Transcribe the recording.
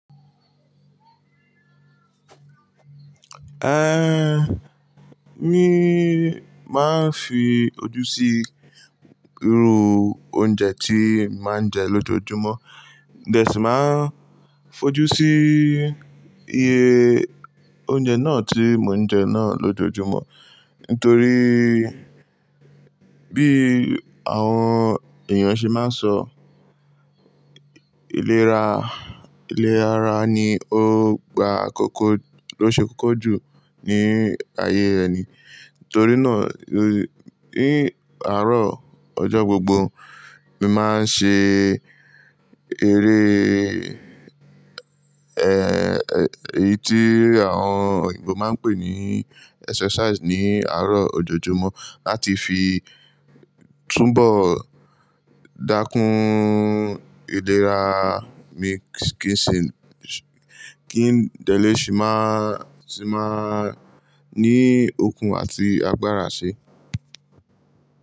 Eh, míì máa ń fi ojú sí irú oúnjẹ tí mà ń jẹ lójoójúmọ́, then mo si má ń fojú sí iye oúnjẹ náà tí mò ń jẹ náà lójoójúmọ́. Nítorí bí àwọn èèyàn ṣe máa ń sọ, ilé ra- ilé ara ni ó gba àkókò ló ṣe kókó jù ní ayé eni. Nítorí náà, ní àárọ̀ ọjọ́ gbogbo, mi máa ń ṣe eré, eh, èyí tí àwọn òyìnbó máa ń pè ní exercise ní àárọ̀ ọjọ́jọ́mọ́ láti fi túnbọ̀ dákún iléra mi kí n sì, kí n dẹ̀lẹ́ ṣì máa, sì máa ní okun àti agbára ṣe.